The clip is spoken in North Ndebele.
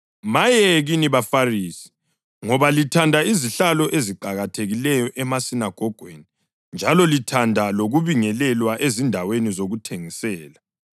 Maye kini baFarisi, ngoba lithanda izihlalo eziqakathekileyo emasinagogweni njalo lithanda lokubingelelwa ezindaweni zokuthengisela.